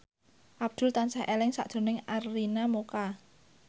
Abdul tansah eling sakjroning Arina Mocca